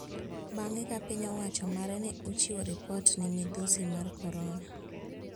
Bang`e ka piny owacho mare ne ochiwo ripot ni midhusi mar korona